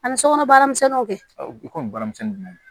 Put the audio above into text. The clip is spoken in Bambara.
An bɛ sokɔnɔ baaramisɛnninw kɛ awɔ i komi baaramisɛnninw